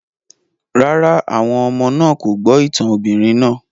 Rárá, àwọn ọmọ náà kò gbọ́ ìtàn obìnrin náà